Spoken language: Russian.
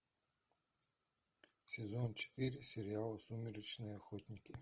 сезон четыре сериал сумеречные охотники